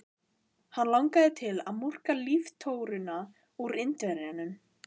Hann langaði til að murka líftóruna úr Indverjanum.